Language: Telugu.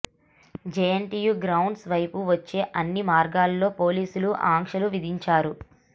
జేఎన్టీయు గ్రౌండు వైపు వచ్చే అన్ని మార్గాల్లో పోలీసులు ఆంక్షలు విధించారు